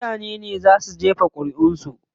Mutanen ne zaa su jefa ƙuriʼun su.